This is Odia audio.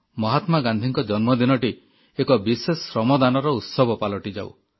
ମହାତ୍ମା ଗାନ୍ଧୀଙ୍କ ଜନ୍ମଦିନଟି ଏକ ବିଶେଷ ଶ୍ରମଦାନର ଉତ୍ସବ ପାଲଟିଯାଉ